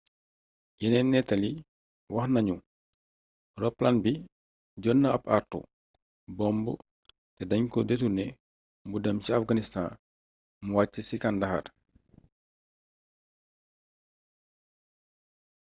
yeneeni nettali wax nañu roplaan bi jot na ab àartu bomb te dañ ko deturné mu dem ca afganistan mu wàcc ci kandahar